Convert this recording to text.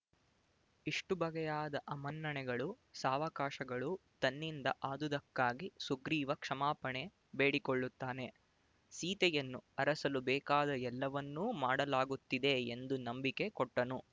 ಇಷ್ಟುಬಗೆಯಾದ ಅಮನ್ನಣೆಗಳು ಸಾವಕಾಶಗಳೂ ತನ್ನಿಂದ ಆದುದಕ್ಕಾಗಿ ಸುಗ್ರೀವ ಕ್ಷಮಾಪಣೆ ಬೇಡಿಕೊಳ್ಳುತ್ತಾನೆ ಸೀತೆಯನ್ನು ಅರಸಲು ಬೇಕಾದ ಎಲ್ಲವನ್ನೂ ಮಾಡಲಾಗುತ್ತಿದೆ ಎಂದು ನಂಬಿಕೆ ಕೊಟ್ಟನು